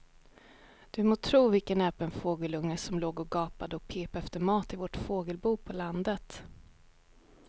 Du må tro vilken näpen fågelunge som låg och gapade och pep efter mat i vårt fågelbo på landet.